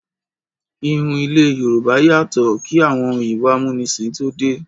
Ìhun ilé àwọn Yorùbá yàtọ̀ kí àwọn òyìnbó amúnisìn tó dé.